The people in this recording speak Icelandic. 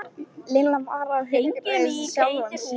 Lilla var að hughreysta sjálfa sig.